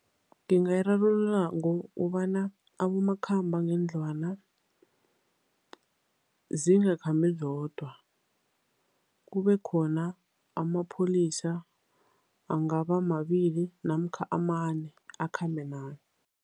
Ngingayirarulula ngokobana abomakhambangendlwana zingakhambi zodwa, kubekhona amapholisa angaba mabili namkha amane, akhambe naye.